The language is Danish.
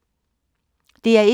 DR1